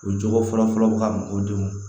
U jɔyɔrɔ fɔlɔ fɔlɔ ka mɔgɔw degun